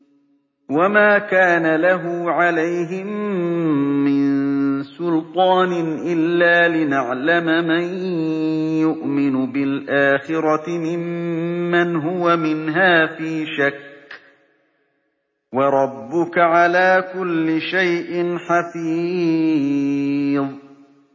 وَمَا كَانَ لَهُ عَلَيْهِم مِّن سُلْطَانٍ إِلَّا لِنَعْلَمَ مَن يُؤْمِنُ بِالْآخِرَةِ مِمَّنْ هُوَ مِنْهَا فِي شَكٍّ ۗ وَرَبُّكَ عَلَىٰ كُلِّ شَيْءٍ حَفِيظٌ